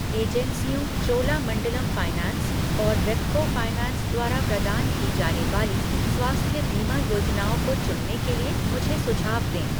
एजेंसियों चोलामंडलम फाइनैंस और रेपको फाइनैंस द्वारा प्रदान की जाने वाली स्वास्थ्य बीमा योजनाओं को चुनने के लिए मुझे सुझाव दें ।